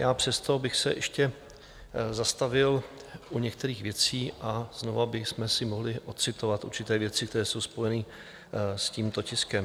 Já přesto bych se ještě zastavil u některých věcí a znovu bychom si mohli odcitovat určité věci, které jsou spojené s tímto tiskem.